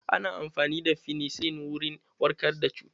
Ana amfani da Fenesilin wurin warkar da cuta.